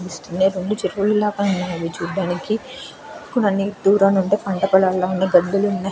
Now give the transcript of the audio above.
రెండు చేగొడెలు లాగా ఉన్నాయి ఇవి చూడడానికి కానీ దూరంనుంటి పంటపొలాల్లాగా వున్నాయి పెద్ధగ ఉన్నాయి.